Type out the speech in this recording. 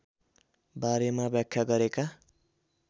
बारेमा व्याख्या गरेका